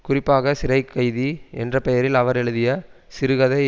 குறிப்பாக சிறைக்கைதி என்ற பெயரில் அவர் எழுதிய சிறுகதை